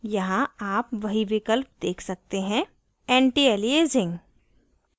यहाँ आप वही विकल्प देख सकते हैं antialiasing antialiasing